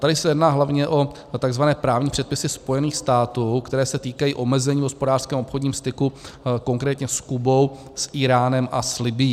Tady se jedná hlavně o takzvané právní předpisy Spojených států, které se týkají omezení v hospodářském obchodním styku, konkrétně s Kubou, s Íránem a s Libyí.